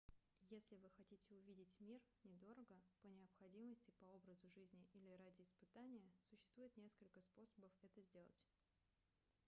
если вы хотите увидеть мир недорого по необходимости по образу жизни или ради испытания существует несколько способов это сделать